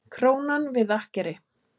Krónan við akkeri